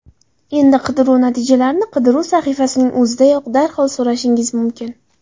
Endi qidiruv natijalarini qidiruv sahifasining o‘zidayoq, darhol saralashingiz mumkin.